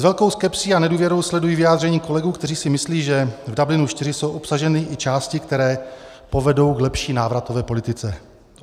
S velkou skepsí a nedůvěrou sleduji vyjádření kolegů, kteří si myslí, že v Dublinu IV jsou obsaženy i části, které povedou k lepší návratové politice.